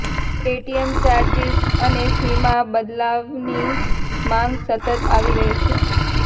ATM charges અને ફીમાં બદલાવની માગ સતત આવી રહી છે